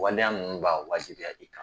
Waleya ninnu b'a wajibiya i kan